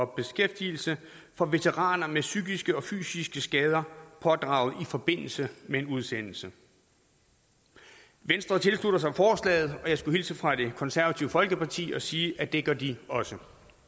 beskæftigelse for veteraner med psykiske og fysiske skader pådraget i forbindelse med en udsendelse venstre tilslutter sig forslaget og jeg skulle hilse fra det konservative folkeparti og sige at det gør de også